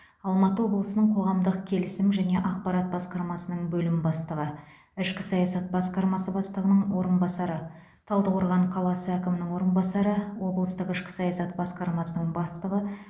алматы облысының қоғамдық келісім және ақпарат басқармасының бөлім бастығы ішкі саясат басқармасы бастығының орынбасары талдықорған қаласы әкімінің орынбасары облыстық ішкі саясат басқармасының бастығы